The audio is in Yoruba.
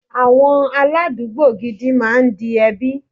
Àwọn aládùúgbò gidi máa ń di ẹbí.